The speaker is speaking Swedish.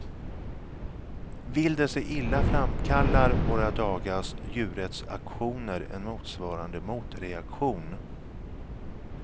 Vill det sig illa framkallar våra dagars djurrättsaktioner en motsvarande motreaktion.